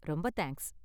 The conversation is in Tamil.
ரொம்ப தேங்க்ஸ்